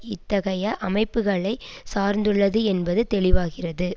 இத்தகைய அமைப்புக்களை சார்ந்துள்ளது என்பது தெளிவாகிறது